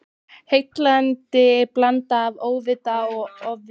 Heillandi blanda af óvita og ofvita.